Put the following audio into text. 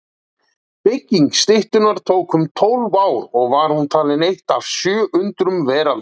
Bygging styttunnar tók um tólf ár og var hún talin eitt af sjö undrum veraldar.